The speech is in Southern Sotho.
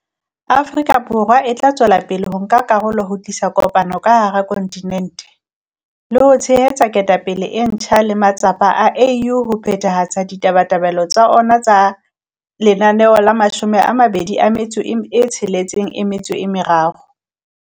Afrika Borwa e tla tswela pele ho nka karolo ho tlisa kopano ka hara kontinente, le ho tshehetsa ketapele e ntjha le matsapa a AU a ho phethahatsa ditabatabelo tsa ona tsa Agenda 2063.